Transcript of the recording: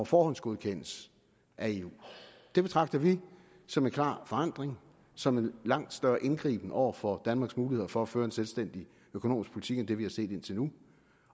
forhåndsgodkendes af eu og det betragter vi som en klar forandring som en langt større indgriben over for danmarks muligheder for at føre en selvstændig økonomisk politik end det vi har set indtil nu